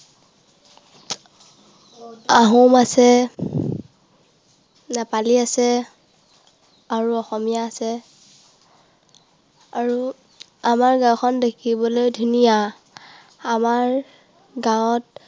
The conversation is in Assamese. আমাৰ গাঁৱত আহোম আছে, নেপালী আছে আৰু অসমীয়া আছে। আৰু আমাৰ গাঁওখন দেখিবলৈ ধুনীয়া। আমাৰ গাঁৱত